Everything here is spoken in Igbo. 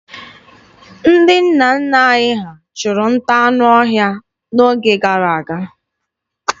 Ndị nna nna anyị ha chụrụ nta anụ ọhịa n'oge gara aga.